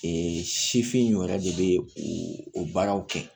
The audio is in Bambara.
sifinw yɛrɛ de bɛ u baaraw kɛ